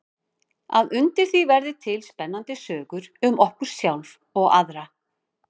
Að undir því verði til spennandi sögur um okkur sjálf og aðra.